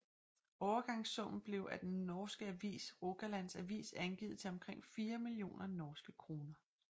Overgangssummen blev af den norske avis Rogalands Avis angivet til omkring 4 millioner norske kroner